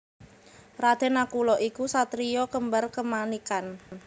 Raden Nakula iku satriya kembar kemanikan